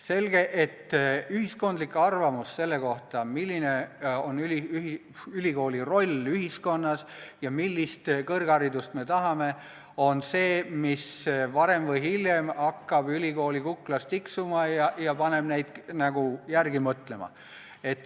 Selge, et ühiskondlik arvamus selle kohta, milline on ülikooli roll ühiskonnas ja millist kõrgharidust me tahame, on see, mis varem või hiljem hakkab ülikoolidel kuklas tiksuma ja paneb neid järele mõtlema.